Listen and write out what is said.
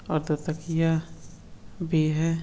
अब तो तकिया भी है |